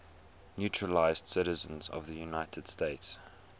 naturalized citizens of the united states